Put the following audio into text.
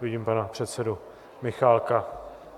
Vidím pana předsedu Michálka.